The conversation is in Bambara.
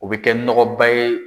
O bɛ kɛ nɔgɔba ye.